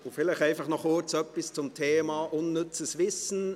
Und vielleicht noch ganz kurz etwas zum Thema unnützes Wissen: